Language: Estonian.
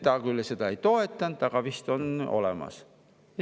Tema küll seda ei toetanud, aga ütles, et vist on olemas.